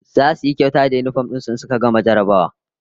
Zasu yi kyauta da yinifom din su in suka gama jarrabawa